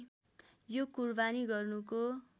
यो कुरबानी गर्नुको